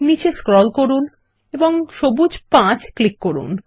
নীচে স্ক্রল করুন এবং সবুজ 5 ক্লিক করুন